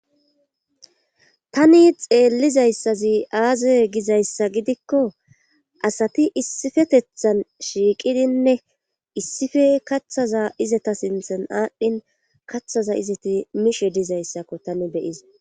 tani xeellizayssazi aaza gizayssa gidikko asati issifetethan shiiqidinne issife kaththaza izata sinthan aadhdhin kathaza izati mishe dizayssakko tani beyizays